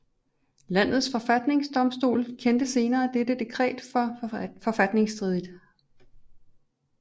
Landets forfatningsdomstol kendte senere dette dekret for forfatningsstridigt